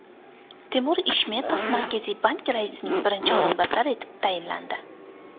Temur Ishmetov Markaziy bank raisining birinchi o‘rinbosari etib tayinlandi.